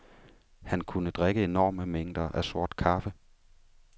Han kunne drikke enorme mængder af sort kaffe.